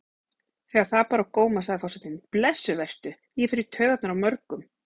Þegar það bar á góma sagði forsetinn: Blessuð vertu, ég fer í taugarnar á mörgum.